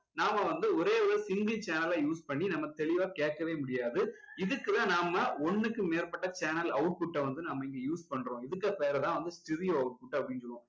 நாம வந்து ஒரே ஒரு single channel அ use பண்ணி நம்ம தெளிவா கேட்கவே முடியாது இதுக்கு தான் நாம ஒண்ணுக்கு மேற்பட்ட channel output அ வந்து நம்ம இங்க use பண்றோம் இதுக்கு பெயர் தான் வந்து stereo output அப்படின்னு சொல்லுவோம்